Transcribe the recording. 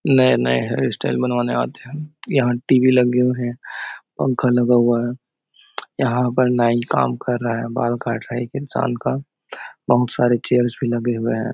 नए-नए hairstyle बनवाने आते है यहाँ टीवी लगे हुए है पंखा लगा हुआ है यहाँ पर नाई काम कर रहा है बाल काट रहा है एक इंसान का बहुत सारे चेयर्स भी लगे हुए है।